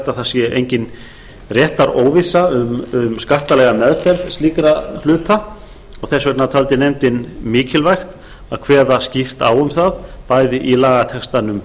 að það sé engin réttaróvissa um skattalega meðferð slíkra hluta og þess vegna taldi nefndin mikilvægt að kveða skýrt á um það bæði í lagatextanum